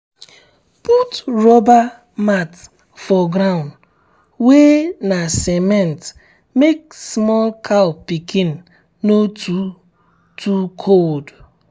put rubber mat um for ground wey na cement make small cow pikin um no um too um too cold.